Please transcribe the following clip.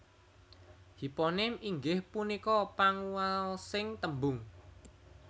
Hiponim inggih punika panguwaosing tembung